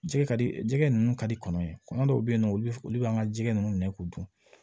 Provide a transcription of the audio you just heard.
Jɛgɛ ka di jɛgɛ ninnu ka di kɔnɔ ye kɔnɔ dɔw bɛ yen nɔ olu bɛ an ka jɛgɛ ninnu minɛ k'u dun